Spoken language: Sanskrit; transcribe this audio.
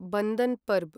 बन्द्न परब्